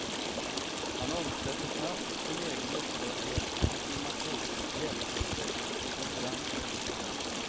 Han omsätter snabbt sin egen upprördhet i diplomati, hjälpprojekt, konferenser.